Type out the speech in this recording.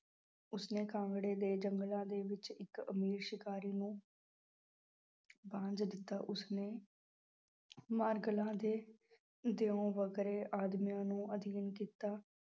ਉਸਨੇ ਕਾਂਗੜੇ ਦੇ ਜੰਗਲਾਂ ਦੇ ਵਿੱਚ ਇੱਕ ਅਮੀਰ ਸ਼ਿਕਾਰੀ ਨੂੰ ਦਿੱਤਾ ਉਸਨੇ ਦੇ ਦਿਓ ਵਗਰੇ ਆਦਮੀਆਂ ਨੂੰ ਅਧੀਨ ਕੀਤਾ,